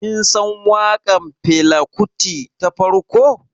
Kin san waƙar Fela Kuti ta farko?